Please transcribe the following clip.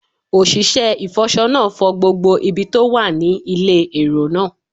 Òṣìṣẹ́ ìfọṣọ náà fọ gbogbo ibi tó wà ní ilé èrò náà